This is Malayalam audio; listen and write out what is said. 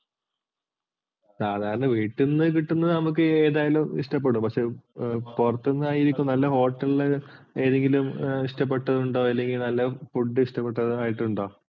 സാധാരണ വീട്ടിൽ നിന്ന് കിട്ടുന്നത് നമുക്ക് ഏതായാലും ഇഷ്ടപ്പെടും പക്ഷെ പുറത്തൂന്നു ആയിരിക്കുന്ന നല്ല hotel ന്നു ഏതെങ്കിലും ഇഷ്ടപ്പെട്ടതുണ്ടോ അല്ലെങ്കിൽ നല്ല food ഇഷ്ടപ്പെട്ടതായിട്ടുണ്ടോ?